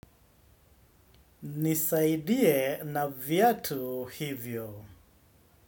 Nisaidie na viatu hivyo.